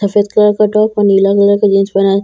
सफ़ेद कलर का टॉप और नीला कलर का जीन्स पेहना है।